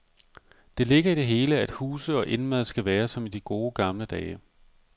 Det ligger i det hele, at huse og indmad skal være som i de gode gamle dage.